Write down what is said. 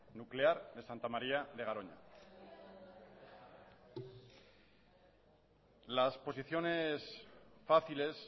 nuclear de santa maría de garoña las posiciones fáciles